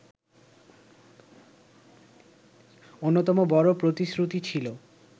অন্যতম বড় প্রতিশ্রুতি ছিল